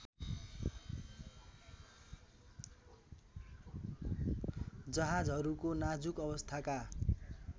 जहाजहरूको नाजुक अवस्थाका